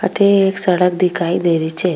अथे एक सड़क दिखाई दे रही छे।